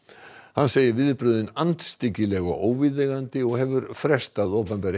hann segir viðbrögðin andstyggileg og óviðeigandi og hefur frestað opinberri